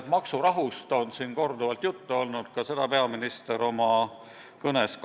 Maksurahust on siin korduvalt juttu olnud, seda tegi ka peaminister oma kõnes.